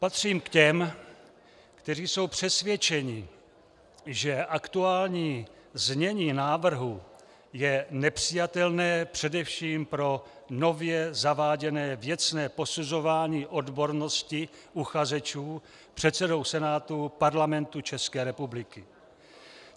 Patřím k těm, kteří jsou přesvědčeni, že aktuální znění návrhu je nepřijatelné především pro nově zaváděné věcné posuzování odbornosti uchazečů předsedou Senátu Parlamentu České republiky.